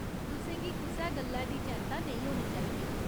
तुसें गी कुसै गल्लै दी चैंत्ता नेईं होनी चाहिदी।